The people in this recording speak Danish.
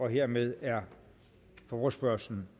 hermed er forespørgslen